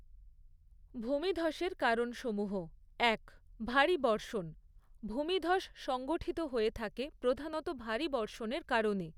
ভূমিধসের কারণসমূহ এক, ভারী বর্ষণ; ভূমিধস সংঘঠিত হয়ে থাকে প্রধানত ভারী বর্ষণের কারণে।